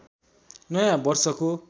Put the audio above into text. नयाँ वर्षको